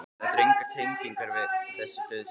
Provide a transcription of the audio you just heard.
Þetta eru engar tengingar við þessi dauðsföll.